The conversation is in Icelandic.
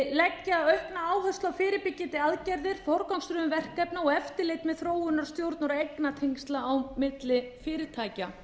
leggja aukna áherslu á fyrirbyggjandi aðgerðir forgangsröðun verkefna og eftirlit með þróun stjórnar eignatengsla á milli fyrirtækja